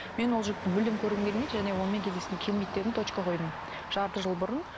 мен ол жігітті мүлдем көргім келмейді және онымен кездескім келмейді дедім точка қойдым жарты жыл бұрын